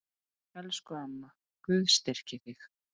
Elsku amma, Guð styrki þig.